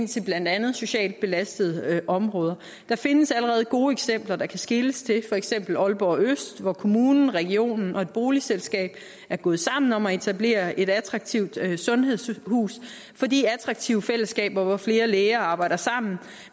til blandt andet socialt belastede områder der findes allerede gode eksempler der kan skeles til for eksempel fra aalborg øst hvor kommunen regionen og et boligselskab er gået sammen om at etablere et attraktivt sundhedshus fordi attraktive fællesskaber hvor flere læger arbejder sammen